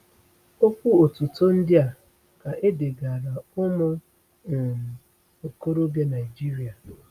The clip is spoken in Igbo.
Okwu otuto ndị a ka e degaara ụmụ um okorobịa Naijiria.